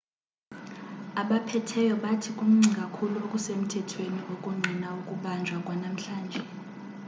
abaphetheyo bathi kuncinci kakhulu okusemthethweni okungqina ukubanjwa kwanamhlanje